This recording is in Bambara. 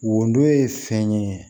Wodon ye fɛn ye